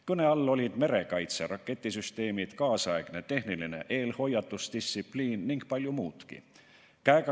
Kõne all olid merekaitse raketisüsteemid, kaasaegne tehniline eelhoiatusdistsipliin ning palju muudki.